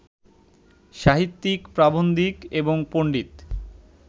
সাহিত্যিক, প্রাবন্ধিক এবং পণ্ডিত